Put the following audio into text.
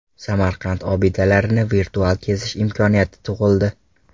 Samarqand obidalarini virtual kezish imkoniyati tug‘ildi.